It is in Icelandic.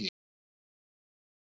Botni